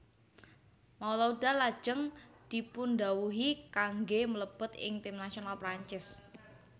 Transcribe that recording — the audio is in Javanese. Malouda lajeng dipundhawuhi kanggé mlebet ing tim nasional Perancis